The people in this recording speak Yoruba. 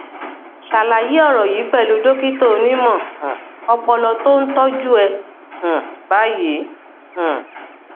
ṣàlàyé ọrọ yìí pẹlú dókítà onímọ um ọpọlọ tó ń tọjú ẹ um báyìí um